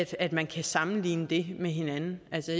at man kan sammenligne det med hinanden